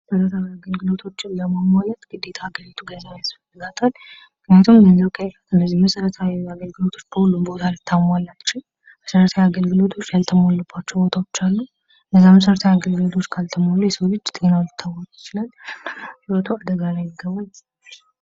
መሰረታዊ አገልግሎቶችን ለማሟላት ግዴታ ሀገሪቱ ገንዘብ ያስፈልጋታል ምክንያቱም ገንዘብ ከሌለ እነዚህን መሰረታዊ አገልግሎቶች በሁሉም ቦታ ልታሟላ አትችልም መሰረታዊ አገልግሎቶች ያልተሟሉባቸው ቦታዎች አሉ ። እነዛ መሰረታዊ አገልግሎቶች ካልተሟሉ የሰው ልጅ ጤናው ሊታወክ ይችላል ህይወቱ አደጋ ላይ ይገባል ።